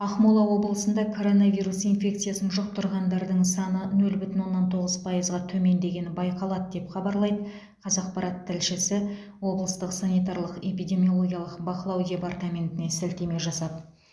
ақмола облысында коронавирус инфекциясын жұқтырғандардың саны нөл бүтін оннан тоғыз пайызға төмендегені байқалады деп хабарлайды қазақпарат тілшісі облыстық санитарлық эпидемиологиялық бақылау департаментіне сілтеме жасап